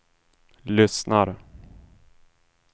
lyssnar